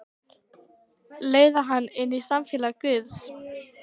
Leiða hana inn í samfélag guðs.